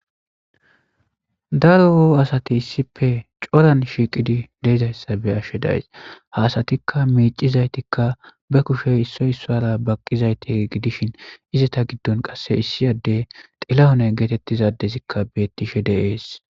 daro oo asati issipe coran shiiqidi deezayssa be ashshe days haasatikka miicizaytikka be kushey issoy issora baqqizayti gidishin izata giddon qasse issiyadde xilahone geetettizadezikka bettishe deees